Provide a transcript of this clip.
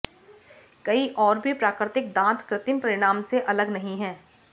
कई और भी प्राकृतिक दांत कृत्रिम परिणाम से अलग नहीं है